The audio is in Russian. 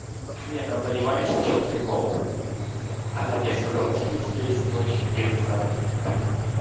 нет там понимаете в чем прикол она мне сказала типа у тебя есть ночь дерзай